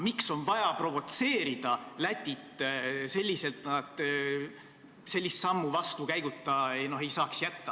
Miks on vaja provotseerida Lätit nii, et nad ei saa seda sammu vastukäiguta jätta?